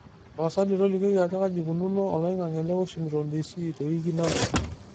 tapasali tolikioki ajo kaji eikununo oloing'ang'e le washington d.c tewiki nalotu